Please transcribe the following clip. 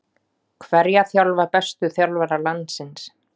Hverja þjálfa bestu þjálfarar landsins?